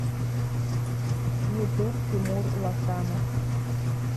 ютуб тимур лосанов